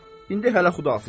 İndi hələ Xudahafiz.